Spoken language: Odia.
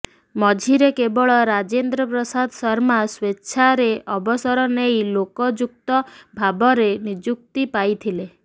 ମଝିରେ କେବଳ ରାଜେନ୍ଦ୍ର ପ୍ରସାଦ ଶର୍ମା ସ୍ବେଚ୍ଛାରେ ଅବସର ନେଇ ଲୋକାଯୁକ୍ତ ଭାବରେ ନିଯୁକ୍ତି ପାଇଥିଲେ